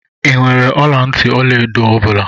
I nwèrè ọla ntị ọlaedo ọ bula?